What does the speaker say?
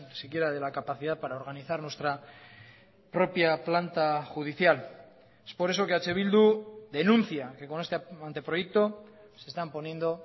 siquiera de la capacidad para organizar nuestra propia planta judicial por eso eh bildu denuncia que con este anteproyecto se están poniendo